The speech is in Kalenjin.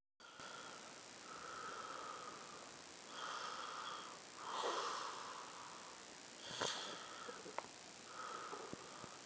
Inyoru kumyande wng' kokwenyo